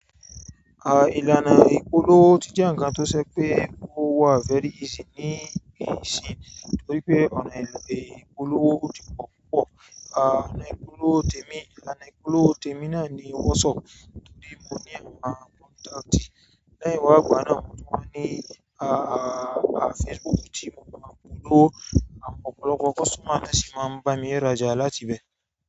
Ìlànà ìpolówó ti jẹ́ ǹkan tó ṣe pé owó wà very easy ní ìsìn torí pé ọ̀nà ìpolówó o ti po púpọ̀, ọ̀nà ìpolówó tèmi-- ìlànà ìpolówó tèmi náà ni WhatsApp tòrí mo ní àwọn contact, lẹ́yìn wá ìgbà náà mo tún wá ní Facebook tí mo máa polówó àwọ̀n ọ̀pọ̀lọpọ̀ customer ni won sì máa ń bá mi rájà láti ibẹ̀.